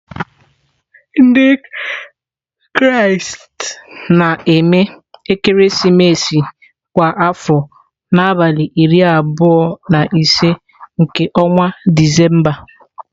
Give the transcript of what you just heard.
Ndị Kraịst na-eme ekeresimesi kwa afọ n'abalị iri abụọ na ise nke ọnwa Disemba.